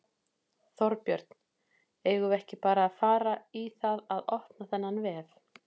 Þorbjörn: Eigum við ekki bara að fara í það að opna þennan vef?